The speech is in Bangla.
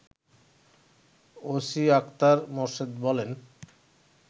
ওসিআখতার মোর্শেদ বলেন